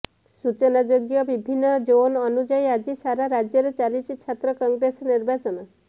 ସୂଚନାଯୋଗ୍ୟ ବିଭିନ୍ନ ଜୋନ୍ ଅନୁଯାୟୀ ଆଜି ସାରା ରାଜ୍ୟରେ ଚାଲିଛି ଛାତ୍ର କଂଗ୍ରେସ ନିର୍ବାଚନ